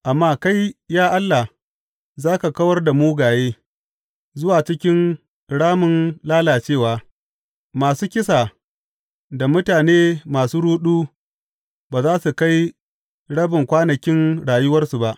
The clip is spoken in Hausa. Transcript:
Amma kai, ya Allah, za ka kawar da mugaye zuwa cikin ramin lalacewa; masu kisa da mutane masu ruɗu ba za su kai rabin kwanakin rayuwarsu ba.